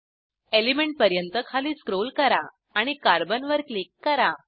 element पर्यंत खाली scroll करा आणि कार्बन वर क्लिक करा